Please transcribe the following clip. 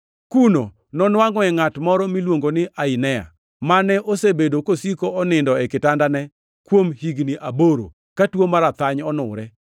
Kuno nonwangʼoe ngʼat moro miluongo ni Ainea, mane osebedo kosiko onindo e kitandane kuom higni aboro, ka tuo mar athany onure.